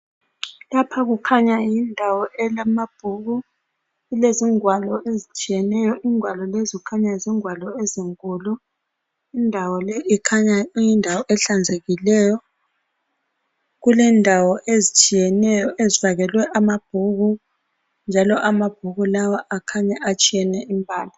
Lapha kukhanya yindawo elamabhuku kulezingwalo ezitshiyeneyo ingwalo lezo kukhanya zingwalo ezinkulu indawo le ikhanya kuyindawo ehlanzekileyo kulendawo ezitshiyeneyo ezifakelwe amabhuku njalo amabhuku lawa akhanya atshiyene imbala.